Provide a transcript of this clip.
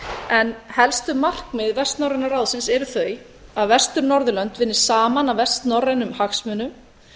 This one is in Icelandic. en helstu markmið vestnorræna ráðsins eru þau að vestur norðurlönd vinni saman að vestnorrænum hagsmunum